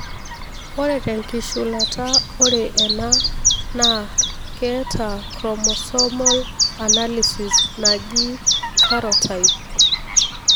ore tenkishulata ore ena na keeta Chromosomal analysis najii karyotype.